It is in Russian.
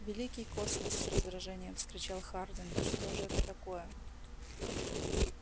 великий космос с раздражением вскричал хардин да что же это такое